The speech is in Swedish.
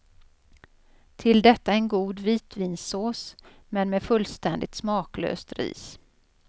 Till detta en god vitvinsås men med fullständigt smaklöst ris.